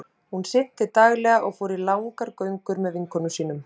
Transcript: Hún synti daglega og fór í langar göngur með vinkonum sínum.